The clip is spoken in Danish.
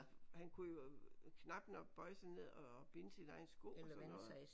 Han kunne jo knap nok bøje sig ned og binde sine egne sko og sådan noget